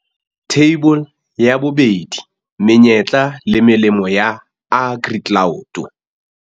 Theibole ya 2. Menyetla le melemo ya AgriCloud.